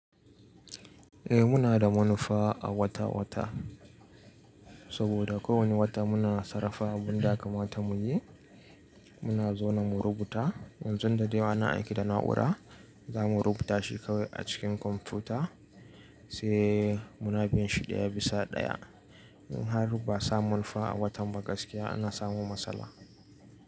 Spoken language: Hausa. Eh muna da munufa a wata-wata saboda ko wani wata muna sarrafa abun da yaka mata muyi. Muna zaune mu rubuta yanzun da dai na aiki da na'ura za mu rubuta shi kawai a cikin kwamfuta sai muna biyan shi daya bisa daya. In har ba sa manufa a watan ba gaskiya ana samu matsala.